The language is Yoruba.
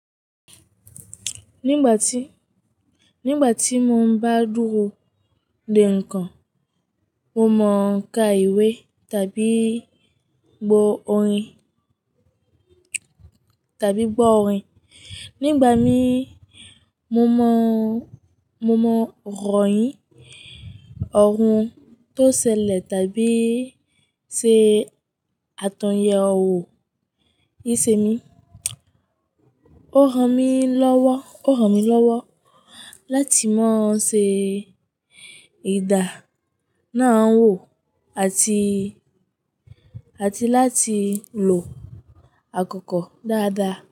Nígbà tí, nígbà tí mo ń bá dúró de ǹkan, mo mọ ka ìwé tàbí gbọ orin, tàbí gbọ́ orin. Nígbà mí mo mọ, mo mọ rọ̀yìn, ọ̀run tó ṣẹlẹ̀ tàbí ṣe àtòyẹwò ìṣe mí. Ó hàn mí lọ́wọ́, ó hàn mí lọ́wọ́ láti má ṣe ìdà náà wò àti, àti láti lò àkókò dáadáa.